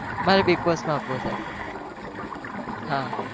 મારે bigg boss માં આપવો છે. હા